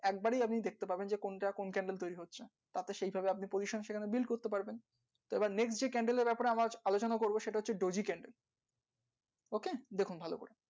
একদমই দেখতে পারবে না এমন candle তৈরি হবে cancel আমাদের সেটা হচ্ছে daisy, candle OK এরকম হয়।